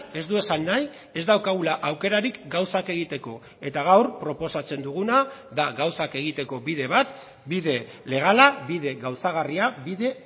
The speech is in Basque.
ez du esan nahi ez daukagula aukerarik gauzak egiteko eta gaur proposatzen duguna da gauzak egiteko bide bat bide legala bide gauzagarria bide